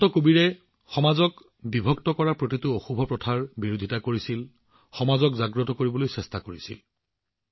সন্ত কবীৰে সমাজক বিভক্ত কৰা প্ৰতিটো অশুভ প্ৰথাৰ বিৰোধিতা কৰিছিল সমাজখনক জাগ্ৰত কৰিবলৈ চেষ্টা কৰিছিল